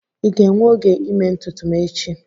Ị ga-enwe oge ịme ntutu m echi?